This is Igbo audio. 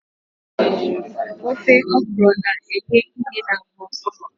Ofe okro na-enye ìhè n'ahụ